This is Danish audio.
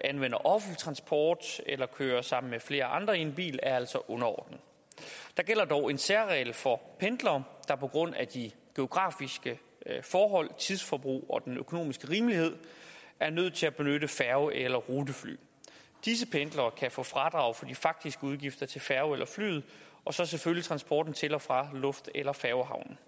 anvender offentlig transport eller kører sammen med flere andre i en bil er altså underordnet der gælder dog en særregel for pendlere der på grund af de geografiske forhold tidsforbruget og den økonomiske rimelighed er nødt til at benytte færge eller rutefly disse pendlere kan få fradrag for de faktiske udgifter til færgen eller flyet og selvfølgelig transporten til og fra luft eller færgehavn